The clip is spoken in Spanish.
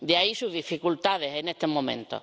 De ahí sus dificultades en este momento.